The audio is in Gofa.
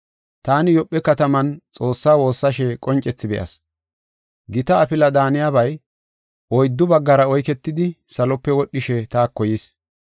“Taani Yoophe kataman Xoossaa woossashe qoncethi be7as. Gita afila daaniyabay oyddu baggara oyketidi salope wodhishe taako yis.